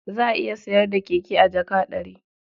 Za a iya sayar da keke a jaka ɗari.